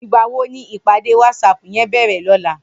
Nigbá wó ni ipàdé wàtsáp yèn bèrè lòlá?